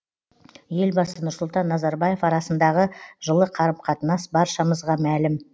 елбасы нұрсұлтан назарбаев арасындағы жылы қарым қатынас баршамызға мәлім